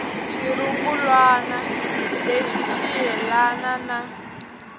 xirungulwana lexi ri yelana na